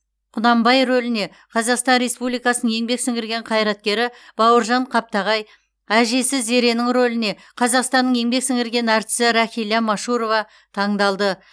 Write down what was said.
құнанбай рөліне қазақстан республикасының еңбек сіңірген қайраткері бауыржан қаптағай әжесі зеренің рөліне қазақстанның еңбек сіңірген әртісі рахиля машурова таңдалды